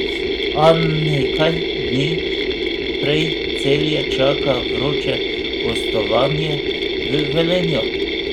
A nekaj dni prej Celje čaka vroče gostovanje v Velenju.